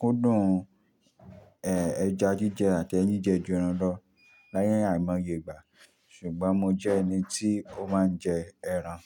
kúndùn, ẹ́, ẹja jíjẹ àti ẹyin jẹ ju ẹran lọ láyé àìmọye ìgbà. Ṣùgbọ́n mo jẹ́ ẹni tí ó máa ń jẹ ẹran.